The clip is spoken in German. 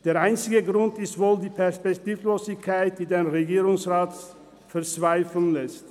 Der einzige Grund ist wohl die Perspektivlosigkeit, die den Regierungsrat verzweifeln lässt.